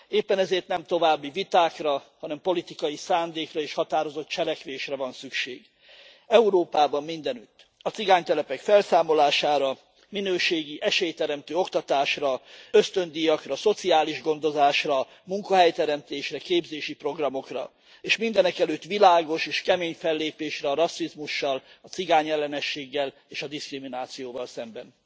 Éppen ezért nem további vitákra, hanem politikai szándékra és határozott cselekvésre van szükség Európában mindenütt. A cigánytelepek felszámolására, minőségi, esélyteremtő oktatásra, ösztöndíjakra, szociális gondozásra, munkahelyteremtésre, képzési programokra, és mindenek előtt világos és kemény fellépésre a rasszizmussal, a cigányellenességgel és a diszkriminációval szemben.